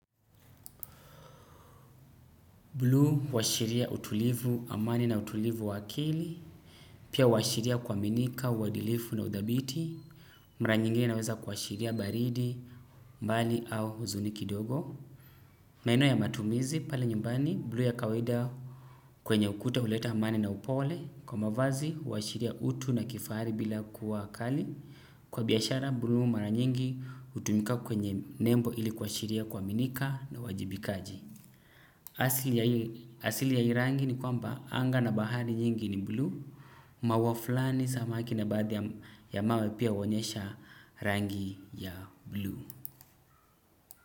Buluu washiria utulivu amani na utulivu wa akili, pia washiria kuwminika, uwadilifu na udhabiti, maranyingi naweza kwa washiria baridi, mbali au uzuni kidogo. Maeneo ya matumizi, pale nyumbani, blu ya kawaida kwenye ukuta uleta amani na upole, kwa mavazi washiria utu na kifari bila kuwa kali, kwa biyashara, blu maranyingi utumika kwenye nembo ili kwa washiria kuaminika na wajibikaji. Asili ya hii rangi ni kwamba anga na bahari nyingi ni blue. Mauaflani samaki na baadhi ya mawe pia wonyesha rangi ya blue.